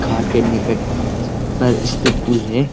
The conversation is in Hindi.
घाट के निकट पर स्थित पुल है।